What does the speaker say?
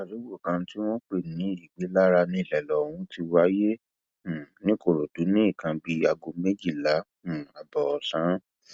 àdúgbò kan tí wọn ń pè ní ìgbélára níṣẹlẹ ohun ti wáyé um nìkòròdú ní nǹkan bíi aago méjìlá um ààbọ ọsán